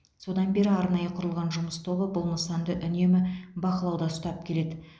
содан бері арнайы құрылған жұмыс тобы бұл нысанды үнемі бақылауда ұстап келеді